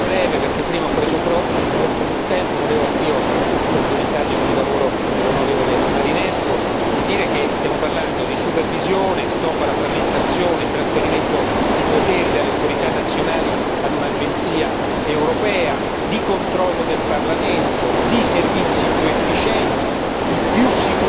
Signor Presidente, onorevoli colleghi, volevo anch'io complimentarmi con il lavoro dell'on. Marinescu e dire che stiamo parlando di supervisione, stop alla frammentazione, trasferimento di poteri dalle autorità nazionali a un'Agenzia europea, di controllo del Parlamento, di servizi più efficienti, di più sicurezza.